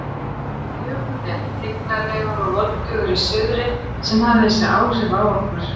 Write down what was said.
Kannski var það Jökullinn, tignarlegur og voldugur í suðri, sem hafði þessi áhrif á okkur.